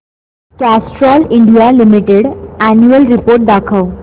Castrol India Limited annual report दाखव